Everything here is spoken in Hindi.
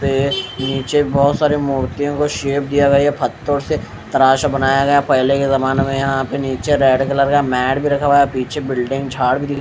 तो ये नीचे बहुत सारी मूर्तियों को शेप दिया गया है पत्थर से तराश बनाया गया पहले के जमाने में यहाँ पे नीचे रेड कलर का मैड भी रखा हुआ है पीछे बिल्डिंग झाड़ भी दि --